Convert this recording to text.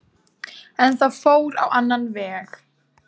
En það fór á annan veg